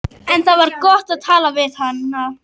En- það var gott að tala við hana.